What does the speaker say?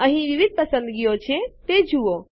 અહીં વિવિધ પસંદગીઓ છે તે જુઓ